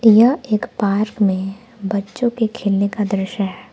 यह एक पार्क में बच्चों के खेलने का दृश्य है।